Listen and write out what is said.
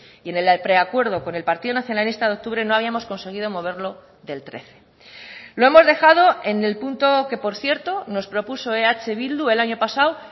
y en el preacuerdo con el partido nacionalista de octubre no habíamos conseguido moverlo del trece lo hemos dejado en el punto que por cierto nos propuso eh bildu el año pasado